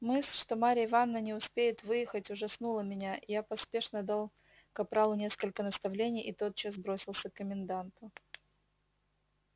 мысль что марья ивановна не успеет выехать ужаснула меня я поспешно дал капралу несколько наставлений и тотчас бросился к коменданту